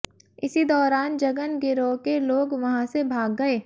इसी दौरान जगन गिरोह के लोग वहां से भाग गए